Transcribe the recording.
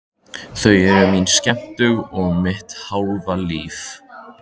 Þau eru mín skemmtun og mitt hálfa líf.